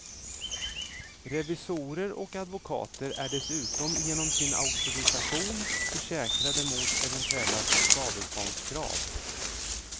Revisorer och advokater är dessutom genom sin auktorisation försäkrade mot eventuella skadeståndskrav.